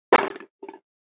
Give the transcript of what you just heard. Heyrast það tala lýðir.